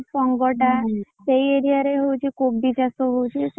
Pong ଟା ସେଇ area ରେ ହଉଛି କୋବି ଚାଷ ହଉଛି।